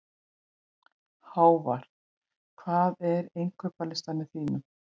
Hávarr, hvað er á innkaupalistanum mínum?